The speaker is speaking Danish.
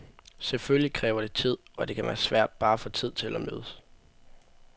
Selvfølgelig kræver det tid, og det kan være svært bare at få tid til at mødes.